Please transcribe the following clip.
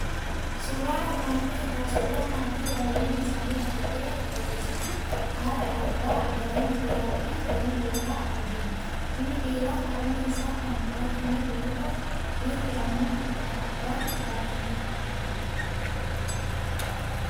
Suuraan armaan olii irraa suuraa maatii baay'inni isaanii afur ta'ee nutti argisiisa. Haadha, abbaa, daa'ima dhiiraa, fi daa'ima dubaraa argina. Inni dhiirri harmee isaan kan baatameeru yoo ta'u, dhiirri immoo abban baatameera.